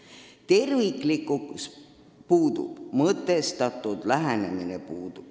Puudub terviklikkus, puudub mõtestatud lähenemine.